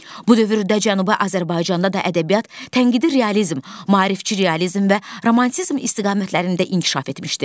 Bu dövrdə Cənubi Azərbaycanda da ədəbiyyat, tənqidi realizm, maarifçi realizm və romantizm istiqamətlərində inkişaf etmişdi.